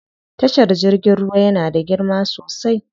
Tashar jirgin ruwa yana da girma sosai.